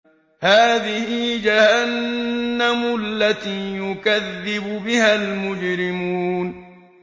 هَٰذِهِ جَهَنَّمُ الَّتِي يُكَذِّبُ بِهَا الْمُجْرِمُونَ